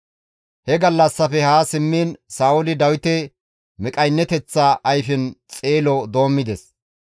He gallassafe haa simmiin Sa7ooli Dawite miqqayneteththa ayfen xeelo doommides.